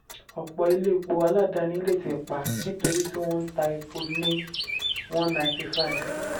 ọ̀pọ̀ ilé epo aládàáni lè tì pa nítorí tí wọ́n n ta epo lé n195.